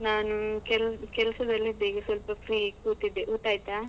ನಾನು ಕೆಲ್~ ಕೆಲ್ಸದಲ್ಲಿದೆ ಈಗ ಸ್ವಲ್ಪ free ಕೂತಿದ್ದೆ. ಊಟ ಆಯ್ತಾ?